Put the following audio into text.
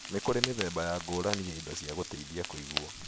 Nĩ kũrĩ mĩthemba ya ngũrani ya indo cia gũteithia kũigua.